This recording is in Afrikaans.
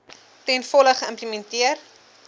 ten volle geïmplementeer